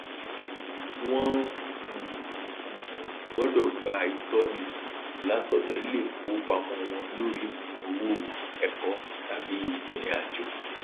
wọn um um gbọdọ gba ìtọni um látọdọ iléìfowópamọ wọn lórí um owó ẹkọ tàbí irinàjò